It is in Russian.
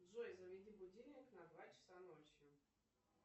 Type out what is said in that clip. джой заведи будильник на два часа ночи